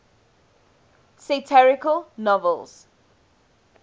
satirical novels